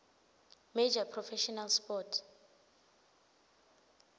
major professional sports